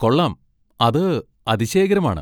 കൊള്ളാം, അത് അതിശയകരമാണ്.